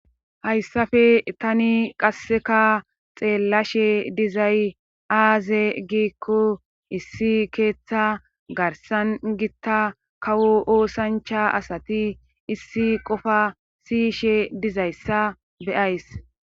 Hayssafe tani qasseka xeellashe dizay aaze giikko issi keeththa garsan gitta kawo oosancha asati issi qofa siyishe dizayssa beyays